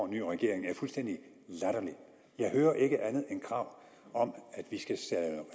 ny regering fuldstændig latterlig jeg hører ikke andet end krav om at vi skal